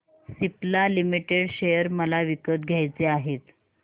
Cipla limited share मला विकत घ्यायचे आहेत